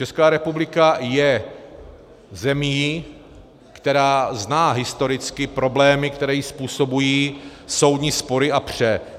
Česká republika je zemí, která zná historicky problémy, které jí způsobují soudní spory a pře.